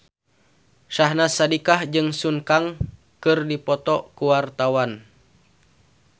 Syahnaz Sadiqah jeung Sun Kang keur dipoto ku wartawan